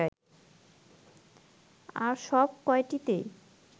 আর সব কয়টিতেই